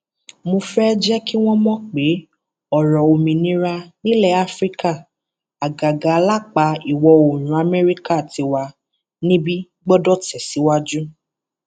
mo fẹẹ jẹ kí wọn mọ pé ọrọ òmìnira nílẹ afrika àgàgà lápá ìwọ oòrùn amẹríkà tiwa níbí gbọdọ tẹsíwájú